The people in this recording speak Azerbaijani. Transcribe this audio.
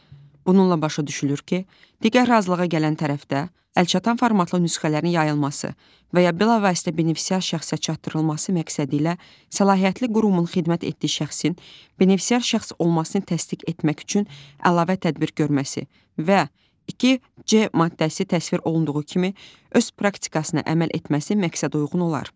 Bununla başa düşülür ki, digər razılığa gələn tərəfdə əlçatan formatlı nüsxələrin yayılması və ya bilavasitə benefisiar şəxsə çatdırılması məqsədilə səlahiyyətli qurumun xidmət etdiyi şəxsin benefisiar şəxs olmasını təsdiq etmək üçün əlavə tədbir görməsi və 2 C maddəsi təsvir olunduğu kimi öz praktikasına əməl etməsi məqsədəuyğun olar.